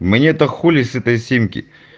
мне-то хули с этой симки